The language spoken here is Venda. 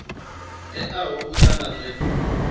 teaho u ya nga zwe